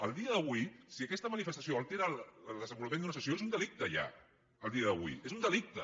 a dia d’avui si aquesta manifestació altera el desenvolupament d’una sessió és un delicte ja a dia d’avui és un delicte